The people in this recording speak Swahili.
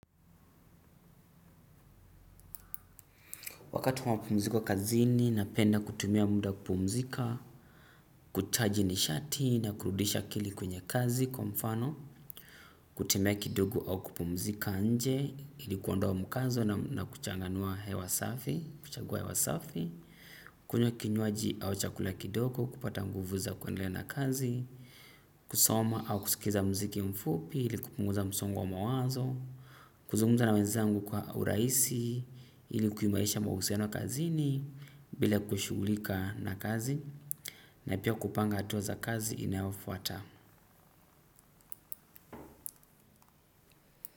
Wakati mwapumziko kazi ni napenda kutumia muda kupumzika, kuchaji ni shati na kurudisha akili kwenye kazi kwa mfano, kutumia kidogo au kupumzika nje, ilikuondoa mkazo na kuchanganua hewasafi, kuchagua hewasafi, kunya kinyuaji au chakula kidogo, kupata nguvu za kwendelea na kazi, kusoma au kusikiza mziki mfupi, iliku punguza msongo wa mawazo, kuzunguza na wezangu kwa uraisi ili kuyumairisha mahusiano kazi ni bila kushugulika na kazi na ipia kupanga atuwa za kazi inaofuata.